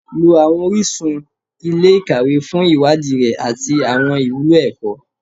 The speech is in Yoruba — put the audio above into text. Lọ àwọn orísun ilé-ìkàwé fún ìwádìí rẹ àti àwọn ìwúlò ẹ̀kọ́